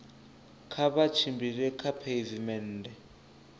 kha vha tshimbile kha pheivimennde